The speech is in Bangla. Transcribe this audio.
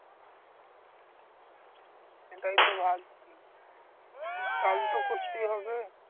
সেটাই তো ভাবছি চাল তো করতেই হবে